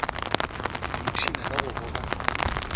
ke ipshina ka go boga